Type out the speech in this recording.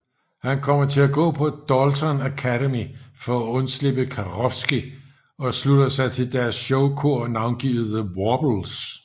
Han kommer til gå på Dalton Academy for at undslippe Karofsky og slutter sig til deres showkor navngivet The Warblers